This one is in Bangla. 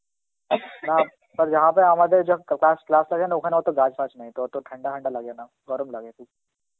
caughing Hindi আমাদের যেখান ক~ ক্লা~ class আছে না ওখানে অত গাছ ফাচ নাই তো অত ঠান্ডা ফান্ডা লাগে না, গরম লাগে খুব.